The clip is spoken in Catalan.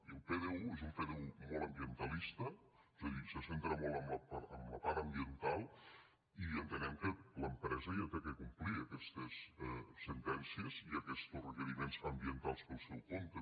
i el pdu és un pdu molt ambientalista és a dir se centra molt en la part ambiental i entenem que l’empresa ja ha de complir aquestes sentències i aquestos requeriments ambientals pel seu compte